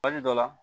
Waati dɔ la